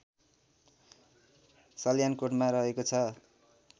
सल्यानकोटमा रहेको छ